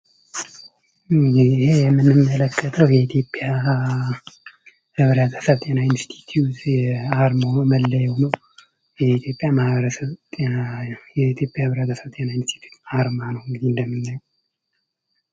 ይሄ ምንመለከተው የኢትዮጵያ ህብረተሰብ ጤና ኢንስቲትዩት አርማው ወይም መለያው ነው። የኢትዮጵያ ማህበረሰብ ጤና ኢንስቲትዩት አርማ ነው ይህ እንደምናየው።